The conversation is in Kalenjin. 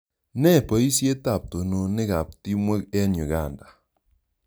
Ne poisyet ap tononet ap timwek eng' Uganda?